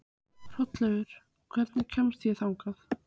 Hrolleifur, hvernig kemst ég þangað?